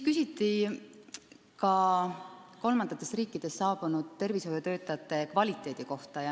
Küsiti ka kolmandatest riikidest saabunud tervishoiutöötajate töö kvaliteedi kohta.